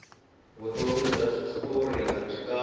vutomi bya switori abyi kahle